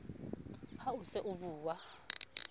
ha o se o bua